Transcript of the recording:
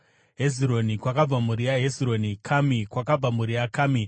Hezironi, kwakabva mhuri yaHezironi; Kami, kwakabva mhuri yaKami.